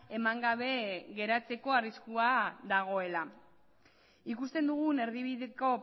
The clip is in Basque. eman gabe geratzeko arriskua dagoela ikusten dugun erdibideko